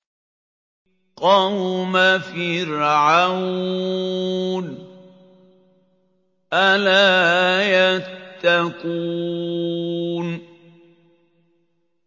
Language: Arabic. قَوْمَ فِرْعَوْنَ ۚ أَلَا يَتَّقُونَ